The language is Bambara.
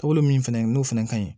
Taabolo min fɛnɛ n'o fɛnɛ ka ɲi